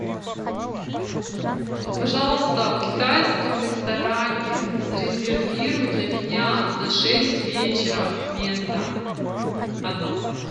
пожалуйста в китайском ресторане зарезервируй для меня на шесть вечера место одно